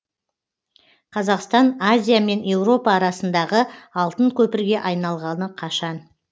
қазақстан азия мен еуропа арасындағы алтын көпірге айналғалы қашан